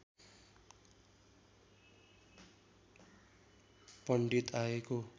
पण्डित आएको